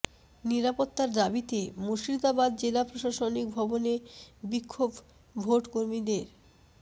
নিরাপত্তার দাবিতে মুর্শিদাবাদ জেলা প্রশাসনিক ভবনে বিক্ষোভ ভোট কর্মীদের